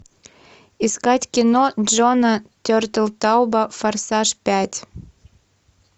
искать кино джона тертелтауба форсаж пять